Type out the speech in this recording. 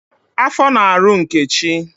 Afọ na-arụ Nkechi